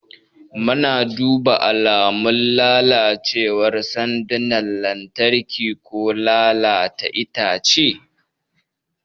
Muna duba alamun lalacewar sandunan lantarki ko lalata itace.